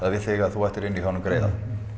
við þig að þú ættir inni hjá honum greiða